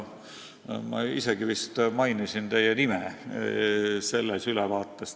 Ma isegi vist mainisin teie nime selles ülevaates.